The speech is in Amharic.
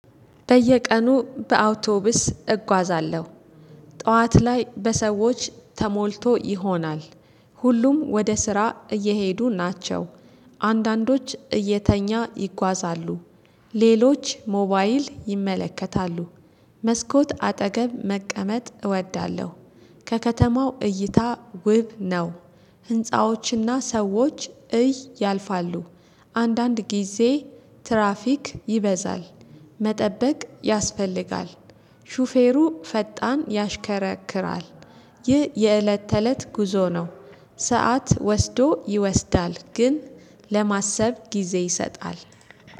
በየቀኑ በአውቶቢስ እጓዛለሁ ጠዋት ላይ በሰዎች ተሞልቶ ይሆናል። ሁሉም ወደ ስራ እየሄዱ ናቸው። አንዳንዶች እየተኛ ይጓዛሉ። ሌሎች ሞባይል ይመለከታሉ። መስኮት አጠገብ መቀመጥ እወዳለሁ። ከከተማው እይታ ውብ ነው። ህንፃዎች እና ሰዎች እይ ያልፋሉ። አንዳንድ ጊዜ ትራፊክ ይበዛል። መጠበቅ ያስፈልጋል። ሹፌሩ ፈጣን ያሽከረክራል። ይህ የእለት ተእለት ጉዞ ነው። ሰዓት ወስዶ ይወስዳል ግን ለማሰብ ጊዜ ይሰጣል